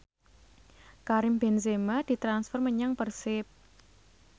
Karim Benzema ditransfer menyang Persib